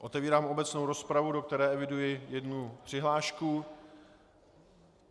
Otevírám obecnou rozpravu, do které eviduji jednu přihlášku.